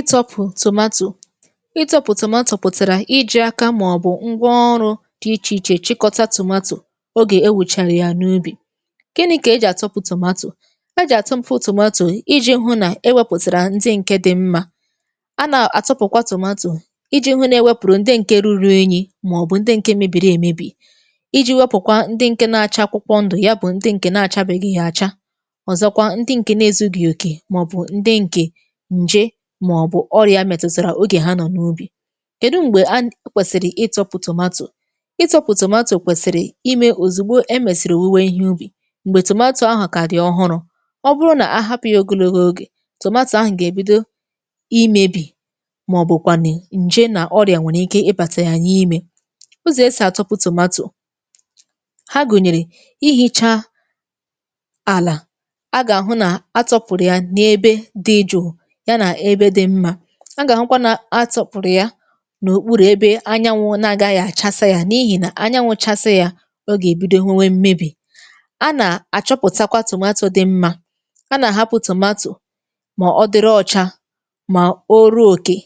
Ịtọpụ̀ tomato; itọpụ̀ tomato pụ̀tàrà iji̇ akȧ màọ̀bụ̀ ngwa ọrụ dị ichè ichè, chịkọta tomato ogè ewùchàrà ya n’ubì. Gịnị ka e jì àtọpụ̀ tomato; jì àtọpụ̀ tomato iji̇ hụ nà ewepụ̀tàrà ndị ǹke dị̇ mmȧ. A nà àtọpụ̀kwa tomato iji̇ hụ nà ewepụ̀rụ ndị ǹke ruru enyi̇, màọ̀bụ̀ ndị ǹke mebiri èmebi; Ịji wepụ̀kwa ndị ǹke na-àcha akwụkwọ ndụ̀, ya bụ̀ ndị ǹkè na-àcha beghị̀ àcha. Ọzọkwa ndị ǹke na-ezu gị òkè, màọ̀bụ̀ ndị ǹkè ṅjé màọ̀bụ̀ ọrịà metụtara, ogè ha nọ̀ n’ubì. kedụ m̀gbè a kwèsị̀rị̀ ịtọ̇pụ̀ tòmatò; ịtọ̇pụ̀ tòmatò kwèsị̀rị̀ imė òzìgbo e mèsị̀rị̀ owụwe ihe ubì, m̀gbè tomato ahụ kàdị̀ ọhụrụ. Ọ bụrụ nà ahapụ̀ ya ogologo ogè tòmatò ahụ̀ gà-èbido imėbì, màọ̀bụ̀ kwànụ̀ njéé nà ọrịà nwèrè ike ịbàtà yà n'ịmẹ. Ụzọ̀ esì àtọpụ̀ tòmatò; ha gụ̀nyèrè ihicha àlà. A gà-àhụ nà atọpụ̀rụ̀ ya n’ebe dị jụụ̇, ya nà ébé dị mmà. A gà-ahụkwa nà atọpurụ ya nà òkpurù ebe anyanwụ nà-agaghị àchasa yȧ, n’ihì nà anyanwụ̇ chasa yȧ ọ gà-èbido nwee wé mmebì. A nà-àchọpụ̀takwa tomato dị mmȧ, a nà-àhapụ̀ tomato mà ọ dịrị ọcha, mà o ruo òkè,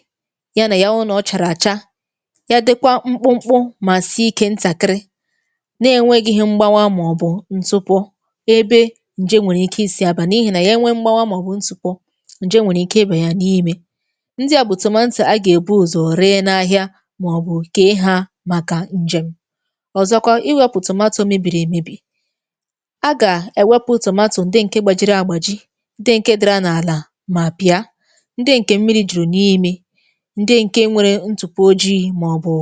ya nà ya wụrụ na ọ chàrà àcha. Ya dịkwa mkpụmkpụ mà si ike ntakịrị, na-enweghi ihe mgbawa màọbụ̀ ntụpụ̀ ebe ǹje nwèrè ike isi̇ àbà. N’ihì nà ya nwee mgbawa màọbụ̀ ntụpụ̀, njéé nwèrè ike ịba ya n'ime. Ndi à bụ̀ tomato a gà-èbu ùzọ ree n’ahịa màọbụ̀ kee ha màkà ǹjem. Ọzọkwa iwėpụ̀ tomato mebìrì èmebì; a gà-èwepu̇ tomato ndi ǹke gbàjiri àgbà jì, ndi ǹke dárà n’àlà mà pịa, ndi ǹke mmiri jùrù n’ime, ndi ǹke nwere ntupu ojii̇ màọbụ̀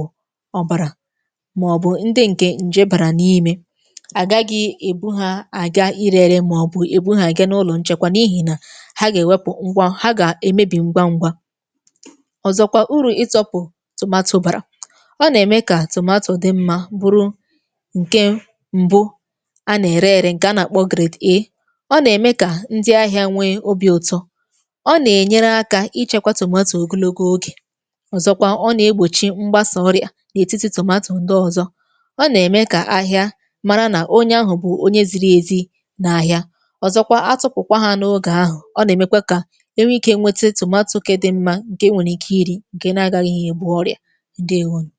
ọbàrà, màọbụ̀ ndi ǹke ǹje bàrà n’ime. A gaghị ebu ha àga irėrė màọbụ̀ ebu ha àgà n’ụlọ nchekwa, n’ihì nà ha gà-èwepu ngwa, ha ga èmebì ngwa ngwa. Ọzọ̀kwa uru ịtọ̇pụ̀ tomato bàrà; ọ nà-ème kà tomato dị mma, bụrụ ǹke mbụ a nà-ère ėrė ǹkè a na-àkpọ grade A. Ọ nà-ème kà ndị ahịȧ nwee obi̇ ụtọ. Ọ nà-ènyere akȧ ichėkwȧ tomato ogologo ogè, ọ̀zọkwa ọ nà-egbòchi mgbasa ọrị̇ȧ n’ètiti tomato ndị ọzọ. Ọ nà-ème kà ahịa mara nà onye ahụ̀ bụ̀ onye ziri èzi n’ahịa. Ọzọ̀kwa atụpụ̀kwa ha n’ogè ahụ̀, ọ nà-èmekwa kà é nwe ike nwete tomato nke dị mma, nke enwere ike ịri, ǹkè na-agaghị ebụ̀ ọrịa. Ndewo nụ.